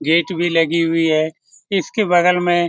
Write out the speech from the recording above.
gate भी लगी हुई है इसके बगल में --